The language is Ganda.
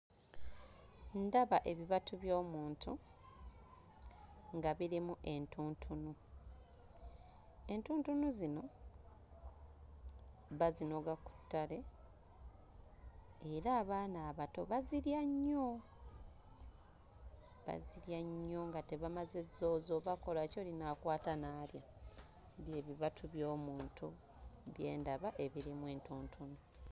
Ndaba ebibatu by'omuntu nga birimu entuntunu entuntunu zino bazinoga ku ttale era abaana abato bazirya nnyo bazirya nnyo nga tebamaze zzooza oba kkola ki oli n'akwata n'alya bye bibatu by'omuntu bye ndaba ebirimu entuntunu.